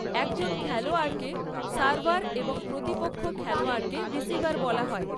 একজন খেলোয়াড়কে সার্ভার এবং প্রতিপক্ষ খেলোয়াড়কে রিসিভার বলা হয়।